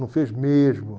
Não fez mesmo.